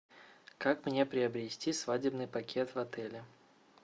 как мне приобрести свадебный пакет в отеле